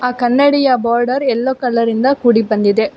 ಕನ್ನಡಿಯ border yellow colour ಇಂದ ಕೂಡಿಬಂದಿದೆ.